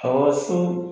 Awɔ so